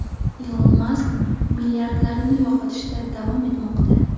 Ilon Mask milliardlarini yo‘qotishda davom etmoqda.